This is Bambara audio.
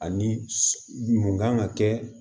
Ani mun kan ka kɛ